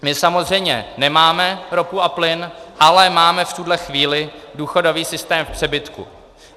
My samozřejmě nemáme ropu a plyn, ale máme v tuhle chvíli důchodový systém v přebytku.